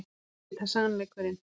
Og auðvitað sannleikurinn.